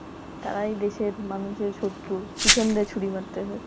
তারাই দেশের মানুষের শত্রু পেছন দিয়া ছুরি মারতেছে